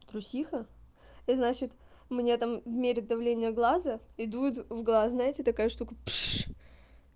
трусиха я значит мне там мерить давление глаза и дует в глаз знаете такая штука пш